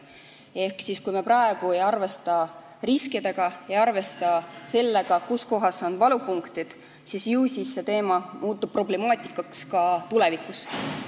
Ehk kui me praegu ei arvesta riskidega – ei arvesta sellega, kus on valupunktid –, ju siis see teema muutub problemaatiliseks ka tulevikus.